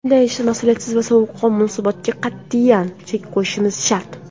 Bunday mas’uliyatsiz va sovuqqon munosabatga qat’iyan chek qo‘yishimiz shart.